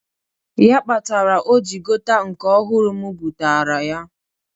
Ya kpatara o jị gota nke ọhụrụ m bụtaara ya.